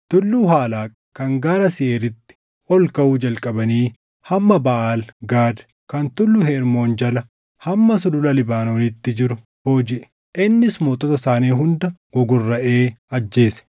Tulluu Halaaq kan gaara Seeʼiiritti ol kaʼuu jalqabanii hamma Baʼaal Gaad kan Tulluu Hermoon jala hamma sulula Libaanoonitti jiru boojiʼe. Innis mootota isaanii hunda gogorraʼee ajjeese.